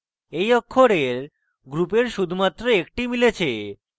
এই অক্ষরের গ্রুপের শুধুমাত্র একটি মিলেছে